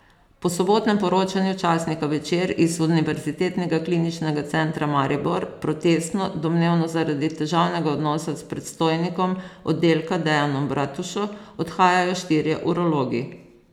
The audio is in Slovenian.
Po sobotnem poročanju časnika Večer iz Univerzitetnega kliničnega centra Maribor protestno, domnevno zaradi težavnega odnosa s predstojnikom oddelka Dejanom Bratušo, odhajajo štirje urologi.